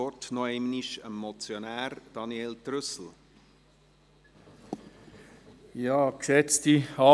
Ich gebe dem Motionär noch einmal das Wort.